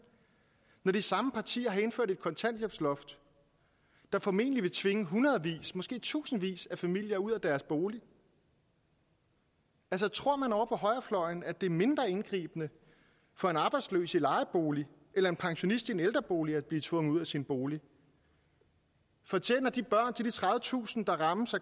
når de samme partier har indført et kontanthjælpsloft der formentlig vil tvinge hundredvis måske tusindvis af familier ud af deres bolig altså tror man ovre på højrefløjen at det er mindre indgribende for en arbejdsløs i en lejebolig eller en pensionist i en ældrebolig at blive tvunget ud af sin bolig fortjener de børn til de tredivetusind der rammes af